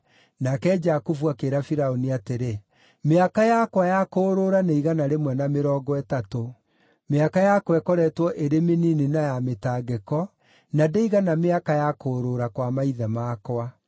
Nake Jakubu akĩĩra Firaũni atĩrĩ, “Mĩaka yakwa ya kũũrũũra nĩ igana rĩmwe na mĩrongo ĩtatũ. Mĩaka yakwa ĩkoretwo ĩrĩ mĩnini na ya mĩtangĩko, na ndĩigana mĩaka ya kũũrũũra kwa maithe makwa.”